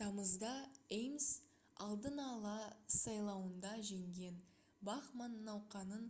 тамызда ames алдын ала сайлауында жеңген бахман науқанын